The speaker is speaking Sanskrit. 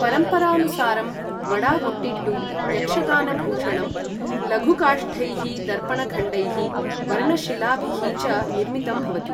परम्परानुसारं बडागुटिट्टु यक्षगानभूषणं लघुकाष्ठैः, दर्पणखण्डैः, वर्णशिलाभिः च निर्मितं भवति ।